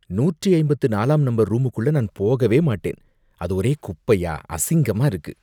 நூற்றி ஐம்பத்து நாலாம் நம்பர் ரூமுக்குள்ள நான் போகவே மாட்டேன் அது ஒரே குப்பையா அசிங்கமா இருக்கு.